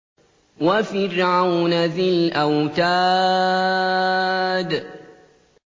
وَفِرْعَوْنَ ذِي الْأَوْتَادِ